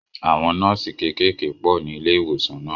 Àwọn nọ́ọ̀sì kékèèké pọ̀ ní ilé ìwòsàn náà